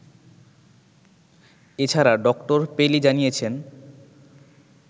এছাড়া doctor Pele জানিয়েছেন